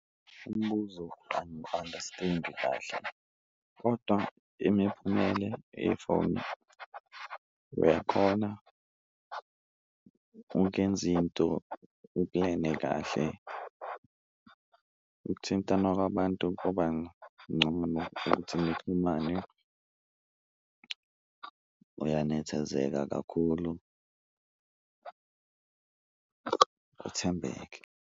Imibuzo angiwu-understand-i kahle, kodwa imiphumele eyefoni uyakhona ukuyenza into, uplene kahle, ukuthintana kwabantu kuba ngcono ukuthi nixhumane. Uyanethezeka kakhulu uthembeke.